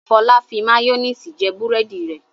Fọlá fi máyónísì jẹ búrẹ́dì rẹ̀.